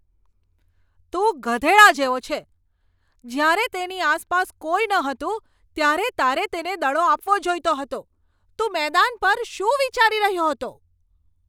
તું ગધેડા જેવો છે. જ્યારે તેની આસપાસ કોઈ નહોતું ત્યારે તારે તેને દડો આપવો જોઈતો હતો. તું મેદાન પર શું વિચારી રહ્યો હતો?